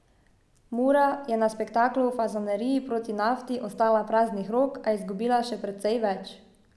Mura je na spektaklu v Fazaneriji proti Nafti ostala praznih rok, a izgubila še precej več.